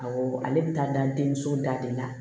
Awɔ ale bɛ taa da denmuso da de la